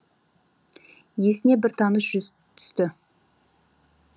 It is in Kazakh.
есіне бір таныс жүз түсті